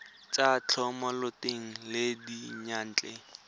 tsa thomeloteng le tsa diyantle